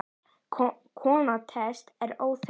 Kona Teits er óþekkt.